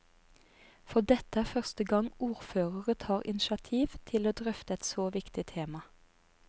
For dette er første gang ordførere tar initiativ til å drøfte et så viktige tema.